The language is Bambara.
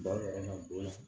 Ba yɛrɛ ma don a la